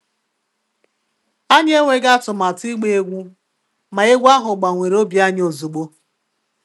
Anyị enweghị atụmatụ ịgba egwú, ma egwú ahụ gbanwere obi anyị ozugbo